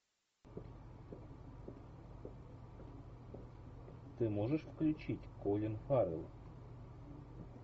ты можешь включить колин фаррелл